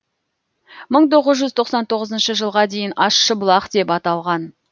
мың тоғыз жүз тоқсан тоғызыншы жылға дейін ащыбұлақ деп аталған